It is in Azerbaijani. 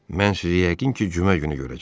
Mən sizi yəqin ki, cümə günü görəcəm.